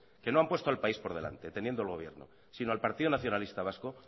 que no han puesto el país por delante teniendo el gobierno sino al partido nacionalista vasco